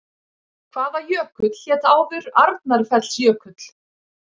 Hvaða jökull hét áður Arnarfellsjökull?